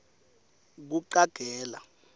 kucagela